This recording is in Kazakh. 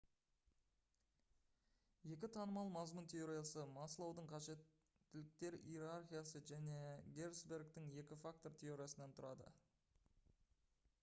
екі танымал мазмұн теориясы маслоудың қажеттіліктер иерархиясы және герцбергтің екі фактор теориясынан тұрады